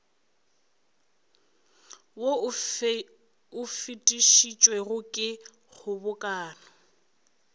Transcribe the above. wo o fetišitšwego ke kgobokano